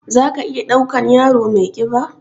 Za ka iya ɗaukan yaro mai ƙiba?